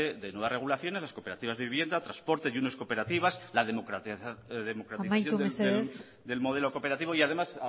de nuevas regulaciones las cooperativas de vivienda transporte junior cooperativas la democratización amaitu mesedez del modelo cooperativo y además